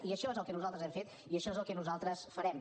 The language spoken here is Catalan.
i això és el que nosaltres hem fet i això és el que nosaltres farem